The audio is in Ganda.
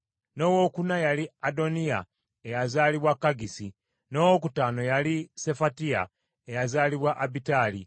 n’owookuna yali Adoniya eyazaalibwa Kaggisi, n’owokutaano yali Sefatiya eyazaalibwa Abitali;